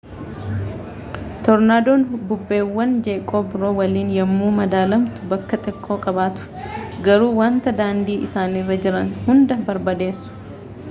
toornaadoon bubbeewwan jeeqoo biroo waliin yommuu madaalamtu bakka xiqqoo qabatu garuu wanta daandii isaanirra jiran hunda barbadeesu